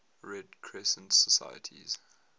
red crescent societies